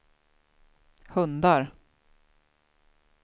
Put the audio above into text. hundar